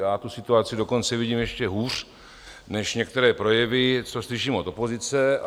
Já tu situaci dokonce vidím ještě hůř než některé projevy, co slyším od opozice.